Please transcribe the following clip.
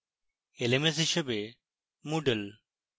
lms হিসাবে moodle